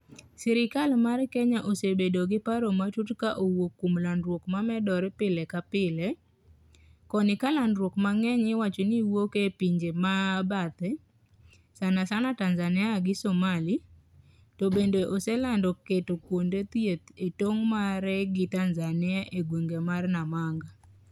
Sirikal mar Kenya osebedo g paro matut ka owuok kuom landruok ma medore pile kapile, koni ka landruok ma ng'enya i wacho ni wouk e pinje ma bathe, sana sana Tanzania gi Somali, to bende oselando keto kuonde thieth e tong' mare gi Tanzania e gweng' mar Namanga